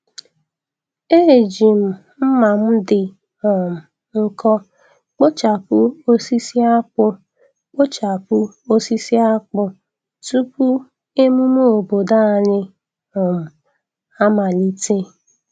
Eji m mma m dị um nkọ kpochapụ osisi akpu kpochapụ osisi akpu tupu emume obodo anyị um amalite.